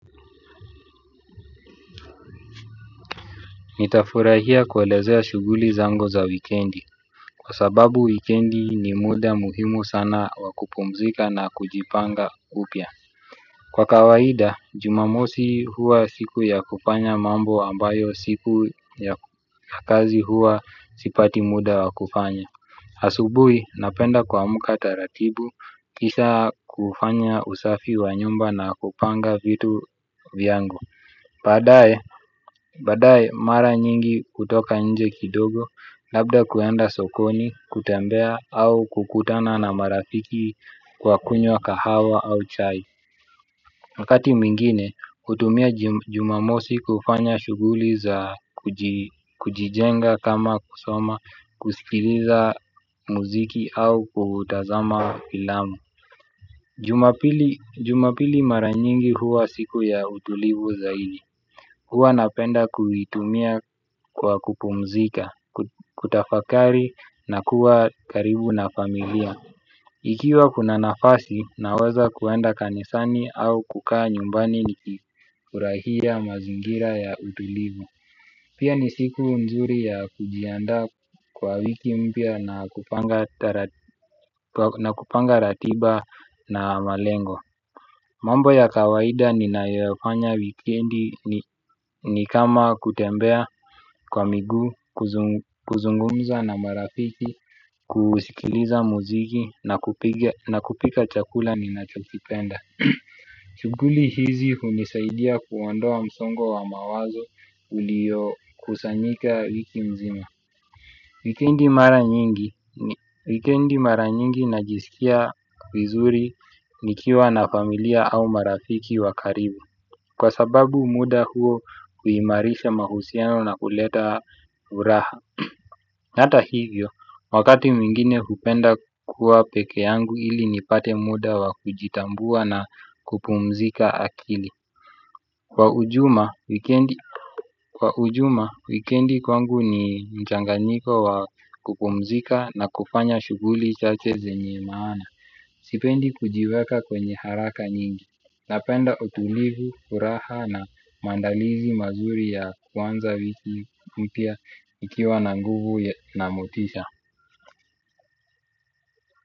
Nitafurahia kwelezea shuguli zangu za wikendi, kwa sababu wikendi ni muda muhimu sana wakupumzika na kujipanga upya. Kwa kawaida, jumamosi huwa siku ya kufanya mambo ambayo siku ya kazi huwa sipati muda wa kufanya. Asubuhi, napenda kuamka taratibu, kisha kufanya usafi wa nyumba na kupanga vitu vyangu. Badaye mara nyingi mimi hutoka nje kidogo labda kuenda sokoni, kutembea au kukutana na marafiki kwa kunywa kahawa au chai wakati mwingine hutumia jumamosi kufanya shughuli za kujijenga kama kusoma, kusikiliza muziki au kutazama filamu. Jumapili maranyingi huwa siku ya utulivu zaidi. Huwa napenda kuitumia kwa kupumzika, kutafakari na kuwa karibu na familia. Ikiwa kuna nafasi naweza kwenda kanisani au kukaa nyumbani ni kifurahia mazingira ya utulivu. Pia ni siku nzuri ya kujiandaa kwa wiki mpya na kupanga ratiba na malengo. Mambo ya kawaida ninayofanya wikendi ni kama kutembea kwa miguu, kuzungumza na marafiki, kusikiliza muziki na kupika chakula ninachokipenda shughuli hizi hunisaidia kuondo a msongo wa mawazo ulio kusanyika wiki mzima. Wikendi mara nyingi najisikia vizuri ni kiwa na familia au marafiki wakaribu. Kwa sababu muda huo huimarisha mahusiano na kuleta furaha hata hivyo, wakati mwingine hupenda kuwa pekee yangu ili nipate muda wakujitambua na kupumzika akili. Kwa ujuma, wikendi kwangu ni mchanganyiko wa kupumzika na kufanya shughuli chache zenye maana. Sipendi kujiweka kwenye haraka nyingi. Napenda utulivu, furaha na maandalizi mazuri ya kuanza wiki mpya nikiwa na nguvu na motisha.